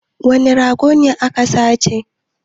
Wane rago ne aka sace?